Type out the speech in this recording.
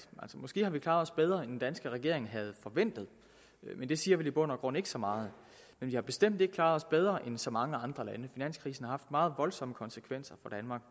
måske har vi klaret bedre end den danske regering havde forventet men det siger vel i bund og grund ikke så meget men vi har bestemt ikke klaret os bedre end så mange andre lande finanskrisen haft meget voldsomme konsekvenser